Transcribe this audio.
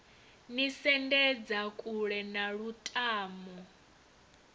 ni sendedza kule na lutamo